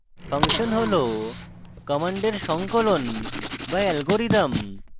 function হল commands সংকলন বা অ্যালগরিদম